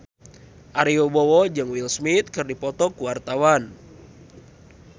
Ari Wibowo jeung Will Smith keur dipoto ku wartawan